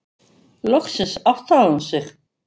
Loksins áttaði hún sig.